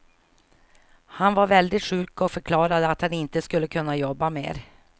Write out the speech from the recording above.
Han var väldigt sjuk och förklarade att han inte skulle kunna jobba mer.